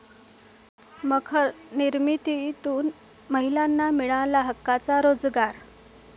मखर निर्मितीतून महिलांना मिळाला हक्काचा रोजगार